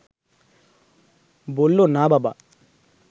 বলল, না, বাবা